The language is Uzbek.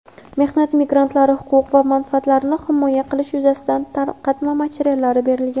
Mehnat migrantlari huquq va manfaatlarini himoya qilish yuzasidan tarqatma materiallar berilgan.